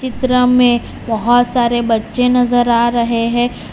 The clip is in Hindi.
त्र में बोहोत सारे बच्चे नजर आ रहे हैं।